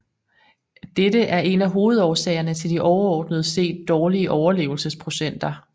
Dette er en af hovedårsagerne til de overordnet set dårlige overlevelsesprocenter